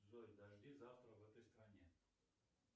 джой дожди завтра в этой стране